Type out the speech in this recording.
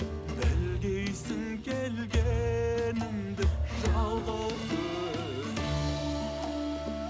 білгейсің келгенімді жалғыз өзім